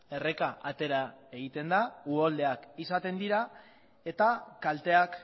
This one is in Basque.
erreka atera egiten da uholdeak izaten dira eta kalteak